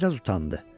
Bir az utandı.